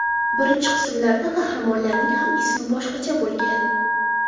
Birinchi qismlarda qahramonlarning ham ismi boshqacha bo‘lgan.